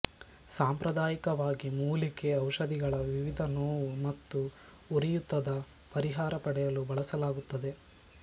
ಸಾಂಪ್ರದಾಯಿಕವಾಗಿ ಮೂಲಿಕೆ ಔಷಧಿಗಳ ವಿವಿಧ ನೋವು ಮತ್ತುಉರಿಯೂತದ ಪರಿಹಾರ ಪಡೆಯಲು ಬಳಸಲಾಗುತ್ತದೆ